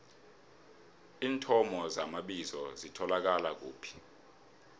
iinthomo zamabizo zitholakala kuphi